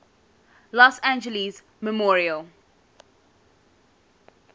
los angeles memorial